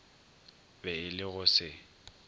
be e le go se